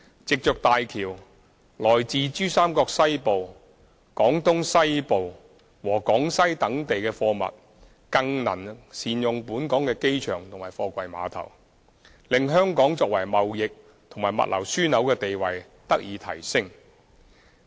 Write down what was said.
藉着大橋，來自珠三角西部、廣東西部和廣西等地的貨物更能善用本港的機場和貨櫃碼頭，令香港作為貿易和物流樞紐的地位得以提升。